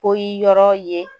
Poyi yɔrɔ ye